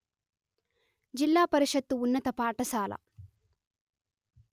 జిల్లా పరిషత్తు ఉన్నత పాఠశాల